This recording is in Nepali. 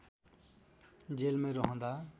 जेलमै रहँदा